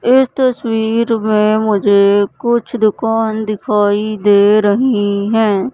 इस तस्वीर में मुझे कुछ दुकान दिखाई दे रही हैं।